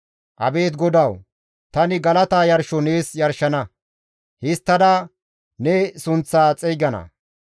Abeet GODAWU! Tani galata yarsho nees yarshana; histtada ne sunththaa xeygana.